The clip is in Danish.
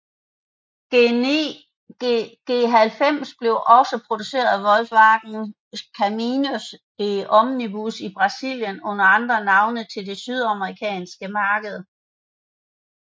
G90 blev også produceret af Volkswagen Caminhões e Ônibus i Brasilien under andre navne til det sydamerikanske marked